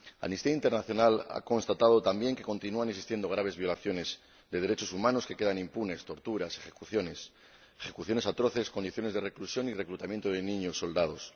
Amnistía Internacional ha constatado también que continúan existiendo graves violaciones de derechos humanos que quedan impunes torturas, ejecuciones, ejecuciones atroces, condiciones de reclusión y reclutamiento de niños soldados.